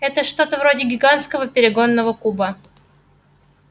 это что-то вроде гигантского перегонного куба